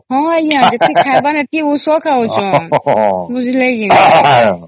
ହଁ ଆଂଜ୍ଞା ଯେତିକି ଖାଇବାର ନାହିଁ ସେତିକି ଔଷଧ ଖାଉଛେ ବୁଝିଲେ କି ନାଇଁ ଆଂଜ୍ଞା